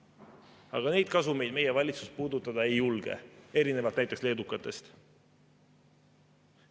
Aga neid kasumeid meie valitsus puudutada ei julge, erinevalt näiteks leedukatest.